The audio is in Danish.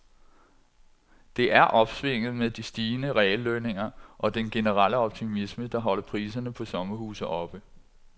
Det er opsvinget med de stigende reallønninger og den generelle optimisme, der holder priserne på sommerhuse oppe.